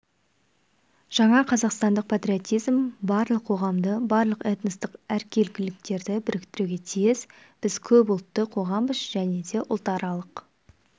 жаңа қазақстандық патриотизм барлық қоғамды барлық этностық әркелкіліктерді біріктіруге тиіс біз көпұлтты қоғамбыз және де ұлтаралық